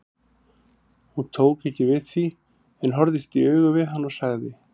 Hún tók ekki við því en horfðist í augu við hann og sagði